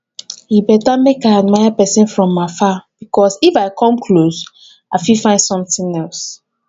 e better make i dey admire person from afar because if i come close i fit find something else